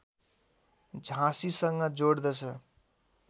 झाँसीसँग जोड्दछ